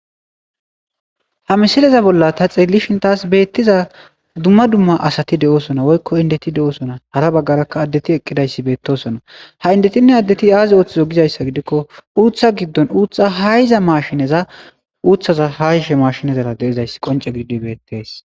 Ha missileza bola ta xelishe tas betiza dumma dumma asati deosona woyikko indeti deosona hara bagaraka addeti eqidayisi betosona ha addetinne ha endoti aza otizo gikko gizayisa gidikko utha gidon utha ashiza mashineza deizayisa qoncen betizayisa gides.